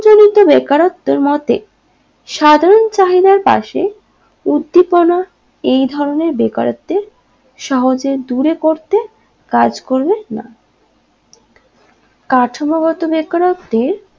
বেকারত্বের মতে সাধারণ চাহিদার পাশে উদ্দিপনা এই ধরণের বেকারত্বের সহজে দূরে করতে কাজ করবে না কাঠামোগত বেকারত্বের